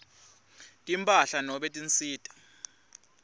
timphahla nobe tinsita